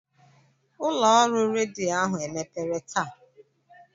Ụlọ ọrụ redio ahụ emepere taa?